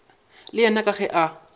le yena ke ge a